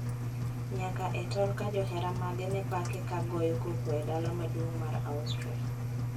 Nyaka e tol ka johera mage ne pake ka goyo koko e dala maduong` mar Austria